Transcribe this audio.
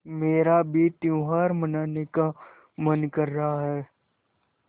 मेरा भी त्यौहार मनाने का मन कर रहा है